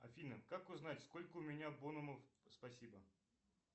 афина как узнать сколько у меня бонусов спасибо